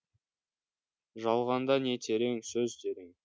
жалғанда не терең сөз терең